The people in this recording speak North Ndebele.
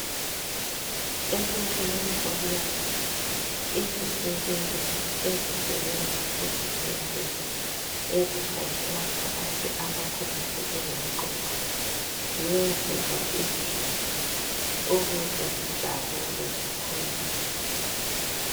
Ekupheleni komnyaka izisebenzi esisebenza kuzibhedlela ezikhangela ngabantu abakhubazeke ngomqondo ziyenzelwa idili ukuze zijabule zikholise.